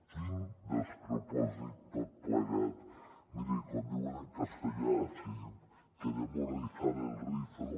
quin despropòsit tot plegat miri com diuen en castellà si diu queremos rizar el rizo